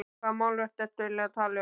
Hvaða málverk ertu eiginlega að tala um?